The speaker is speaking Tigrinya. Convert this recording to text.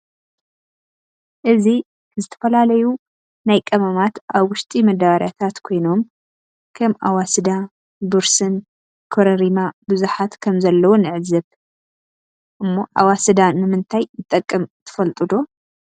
እዚ ዝትፈላላየሁ ናይ ቀመመት ኣብ ውሽጢ መደበራታት ኮይኖም ከም ኣወስዳ ፣ብርስን ከረርማ ብዛሓት ከም ዘለው ንዕዘብ እሞኣዋስዳ ንምንታይ ይጠቅም ትፈልጥዶ?